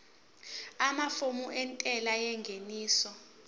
amafomu entela yengeniso